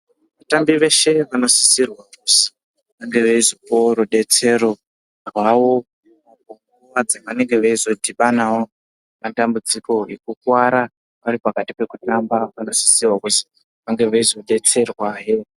Vatambi veshe vanosisirwa kuzi vange veizopuwawo rudetsero rwavo apo nguva dzevanenge veizodhibanawo nematambudziko ekukuvara varipakati pekutamba. Vanosisirwa kuzi vange veizodetserwahe.